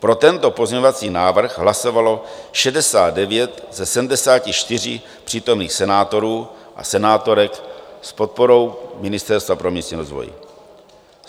Pro tento pozměňovací návrh hlasovalo 69 ze 74 přítomných senátorů a senátorek s podporu Ministerstva pro místní rozvoj.